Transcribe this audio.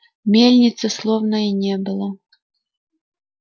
мельницы словно и не было